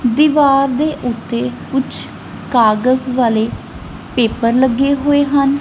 ਦੀਵਾਰ ਦੇ ਉੱਤੇ ਕੁਝ ਕਾਗਜ਼ ਵਾਲੇ ਪੇਪਰ ਲੱਗੇ ਹੋਏ ਹਨ।